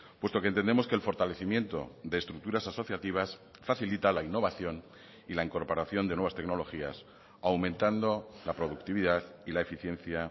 puesto que entendemos que el fortalecimiento de estructuras asociativas facilita la innovación y la incorporación de nuevas tecnologías aumentando la productividad y la eficiencia